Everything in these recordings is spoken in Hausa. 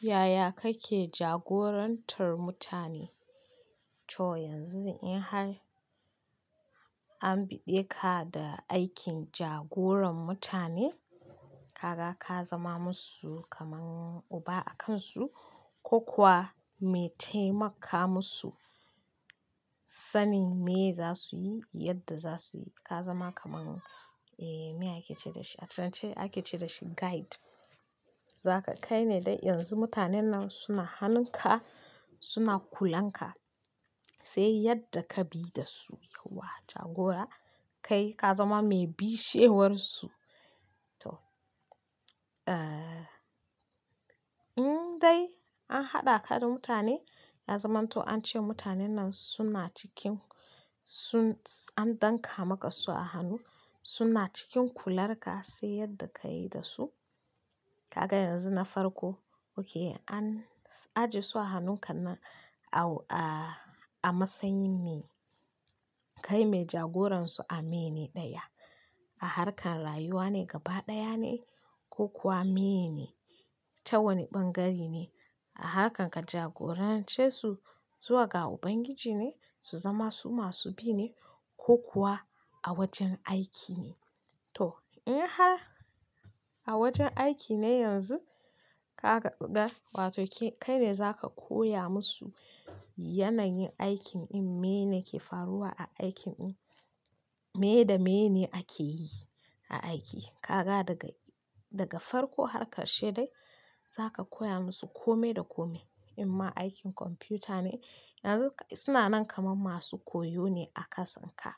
Yaya kake jagorantar mutane? To yanzu in har an biɗe ka da aikin jagoran mutane? Kaga ka zama musu kaman uba a kansu ko kuwa me taimaka musu sanin meye za su yi, yadda za su yi. Ka zama kamar, eh, me ake ce da shi? A can ake ce dashi guide. Zaka kai ne dai yanzu mutanen nan suna hanunka, suna kulanka sai yadda ka bi da su, yauwa jagora. Kai ka zama mai bishewar su. To, eh, in dai an haɗa ka da mutane, ya zamanto an ce mutanen nan suna cikin sun, an danƙa maka su a hannu, suna cikin kular ka sai yadda ka yi da su. Kaga yanzu na farko, okay an, ajiye su a hannunkan nan a, a, a matsayin me? Kai me jagoransu a mene ɗaya, a harkan rayuwa ne gaba ɗaya ne ko kuwa meye ne? Ta wane ɓangare ne? A harkan ka jagorance su zuwa ga Ubangiji ne su zama su masu bi ne, ko kuwa a wajen aiki ne? To in har a wajen aiki ne yanzu, kaga da, wato ke, kai ne zaka koya musu yanayin aikin ɗin, meye ne ke faruwa a aikin ɗin, meye da meye ne ake yi a aiki. Kaka daga, daga farko har ƙarshe dai zaka koya musu kome da kome. In ma aikin kwamfuta ne, yanzu suna nan kamar masu koyo ne a kasan ka.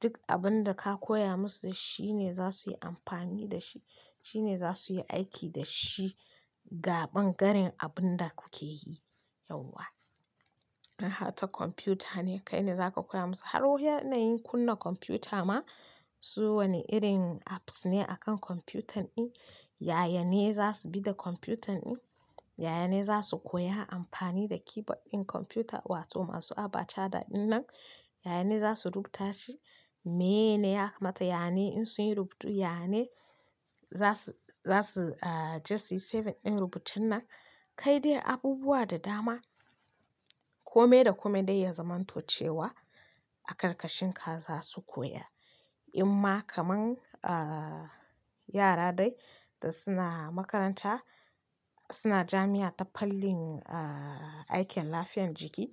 Duk abun da ka koya musu shine za su yi amfani da shi, shine za su yi aiki da shi ga ɓangaren abun da kuke yi yauwa. In har ta kwamfuta ne, kai ne zaka koya musu har wa-yanayin kunna kwamfuta ma, su wane irin apps ne a kan kwamfutan ɗin, yayane za su bi da kwamfutan ɗin, yayane za su koya amfani da keyboard ɗin kwamfuta wato masu abachada ɗin nan, yayane za su rubuta shi, meye ne ya kamata, yane in sun yi rubutu, yane za su, za su, ah, je su yi saving ɗin rubutun nan. Kai dai abubuwa da dama kome da kome dai ya zamanto cewa, a ƙarƙashin ka za su koya. In ma kamar, ah, yara dai da suna makaranta suna jami'a ta fannin, ah, aikin lafiyar jiki,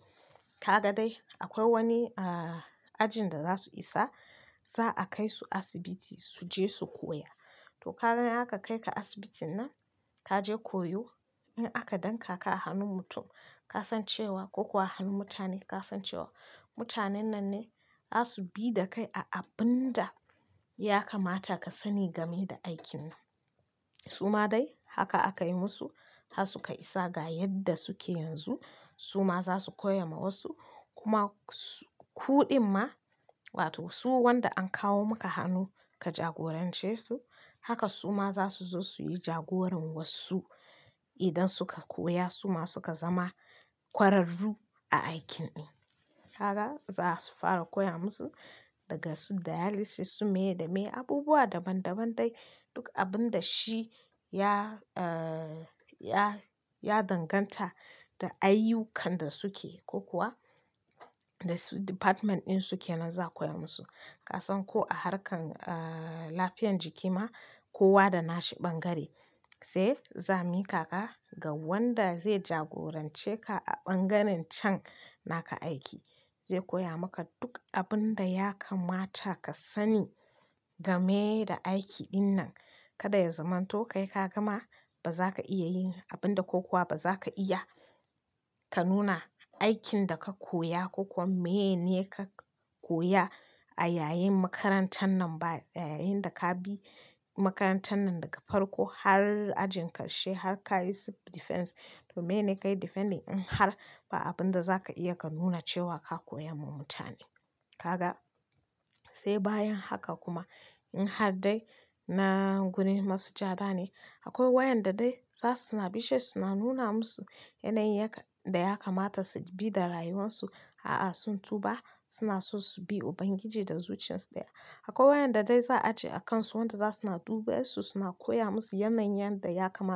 kaga dai akwai wani, ah, ajin da za su isa za'a kai su asibiti su je su koya. To ka ga in aka kai ka asibitin nan, ka je koyo. In aka danƙaka a hannun mutum, ka san cewa, ko kuwa a hannun mutane, ka san cewa mutanen nan ne za su bi da kai a abun da ya kamata ka sani game da aikin nan. Su ma dai haka aka yi musu, har suka isa ga yadda suke yanzu. Su ma za su koya ma wasu kuma su, ku ɗin ma wato su wanda an kawo maka hannu ka jagorance su, haka su ma za su zo su yi jagoran wasu idan suka koya su ma suka zama kwararru a aikin ɗin. Kaga za su fara koya musu daga su dialysis su me da me abubuwa daban daban dai, duk abun da shi ya, ah, ya, ya danganta da ayyukan da suke, ko kuwa da su department ɗin suke nan za'a koya musu. Ka san ko a harkan, ah, lafiyar jiki ma, kowa da nashi ɓangare, sai za'a miƙa ka ga wanda zai jagorance ka a ɓangaren can naka aiki. Zai koya maka duk abun da ya kamata ka sani game da aiki ɗin nan. Kada ya zamanto kai ka gama ba za ka iya yin abin da ko kuwa ba za ka iya ka nuna aikin da ka koya ko kuwa meye ne ka koya a yayin makarantan nan ba, yayin da ka bi makarantan nan daga farko har ajin ƙarshe har ka yi su defense. To meye ne kayi defending in har ba abun da za ka iya ka nuna cewa ka koya wa mutane. Kaga, sai bayan haka kuma in har dai na gurin masujada ne, akwai waƴanda dai za su suna bishe su suna nuna musu yanayin yakan, da ya kamata su bi da rayuwansu. A'a sun tuba, suna so su bi Ubangiji da zuciyarsu ɗaya. Akwai waƴanda dai za'a ce a kansu wanda za suna duba su suna koya musu yanayin yanda ya kama.